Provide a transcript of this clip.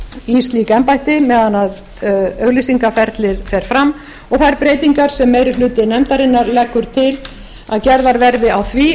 í slík embætti meðan auglýsingaferlið fer fram og þær breytingar sem meiri hluti nefndarinnar leggur til að gerðar verði á því